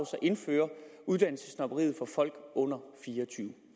så indføre uddannelsessnobberiet for folk under fire